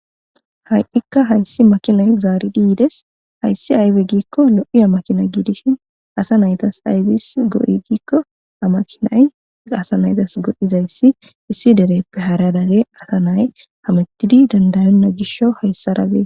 Ha'ikka hayssi makina zaari diyides hayssi aybe giikko lo7i amakina giidishin asa naytas ayfis go'i giikko amakinay gaasa naytas godhizayssi issi dereppe haradage asa nay hamettidi dandayonna gisho hayssara bee